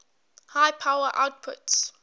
high power outputs